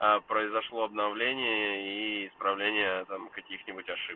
а произошло обновление и исправление там каких-нибудь ошибок